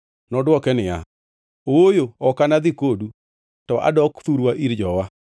Nodwoke niya, “Ooyo, ok anadhi kodu; to adok thurwa ir jowa.”